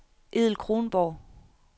Edel Kronborg